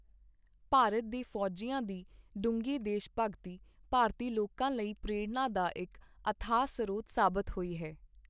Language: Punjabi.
ਭਾਰਤ ਦੇ ਫੌਜੀਆਂ ਦੀ ਡੂੰਘੀ ਦੇਸ਼ਭਗਤੀ ਭਾਰਤੀ ਲੋਕਾਂ ਲਈ ਪ੍ਰੇਰਣਾ ਦਾ ਇਕ ਅਥਾਹ ਸਰੋਤ ਸਾਬਿਤ ਹੋਈ ਹੈ।